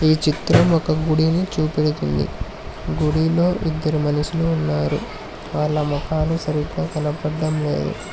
ఈ చిత్రం ఒక గుడిని చూపెడుతుంది గుడిలో ఇద్దరు మనుషులు ఉన్నారు వాళ్ళ ముఖాలు సరిగ్గా కనబడడం లేదు.